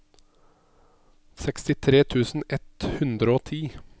sekstitre tusen ett hundre og ti